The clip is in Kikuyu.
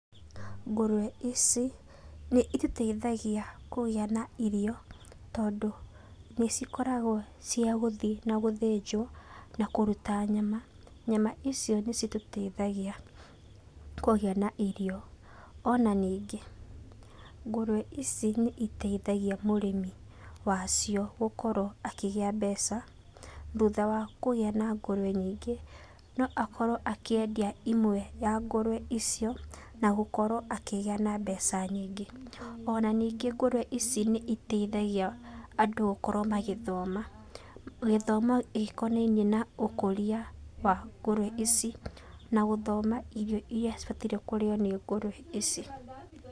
Ngũrwe ici nĩitũteithagia kũgĩa na irio tondũ nĩcikoragwo ciagũthiĩ na gũthĩnjwo na kũruta nyama, nyama icio nĩcitũteithagia kũgĩa na irio. Ona nyingĩ ngũrwe ici mũrĩmi wacio gũkorwo akĩgĩa mbeca thutha wa kũgĩa na ngũrwe nyingĩ noakorwo akĩendia imwe ya ngũrwe icio na gũkorwo akĩgĩa na mbeca nyingĩ. Ona nyingĩ ngũrwe ici nĩciteithagia andũ gũkorwo magĩthoma, gĩthomo gĩkonainie na ũkũria ici na gũthoma irio iria cibatairwo kũrĩo nĩ ngũrwe ici.